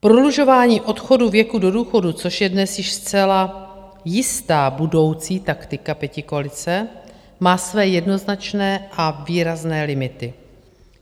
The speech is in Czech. Prodlužování odchodu věku do důchodu, což je dnes již zcela jistá budoucí taktika pětikoalice, má své jednoznačné a výrazné limity.